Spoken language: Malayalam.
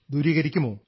ദൂരീകരിക്കുമോ